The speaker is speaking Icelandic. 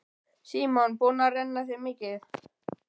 Símon: Búin að renna þér mikið?